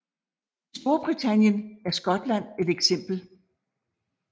I Storbritannien er Skotland et eksempel